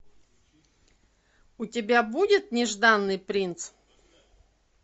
у тебя будет нежданный принц